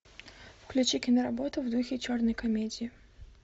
включи киноработу в духе черной комедии